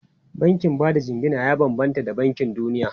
Bankin ba da jingina ya bambanta da bankin duniya.